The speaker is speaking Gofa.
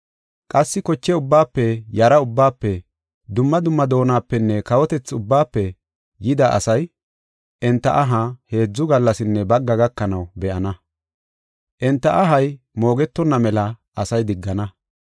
Qassi koche ubbaafe, yara ubbaafe, dumma dumma doonapenne kawotethi ubbaafe yida asay enta aha heedzu gallasinne bagga gakanaw be7ana. Enta ahay moogetonna mela asay diggana.